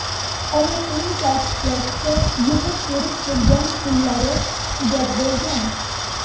Onasining ta’kidlashicha, yig‘ib-terib kelgan pullari tugab bo‘lgan.